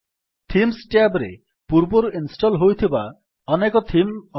themes tab ରେ ପୂର୍ବରୁ install ହୋଇଥିବା ଅନେକ ଥିମ୍ ଅଛି